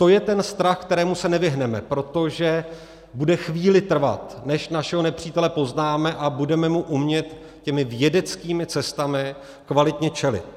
To je ten strach, kterému se nevyhneme, protože bude chvíli trvat, než našeho nepřítele poznáme a budeme mu umět těmi vědeckými cestami kvalitně čelit.